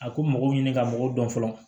A ko mɔgɔw ɲini ka mɔgɔw dɔn fɔlɔ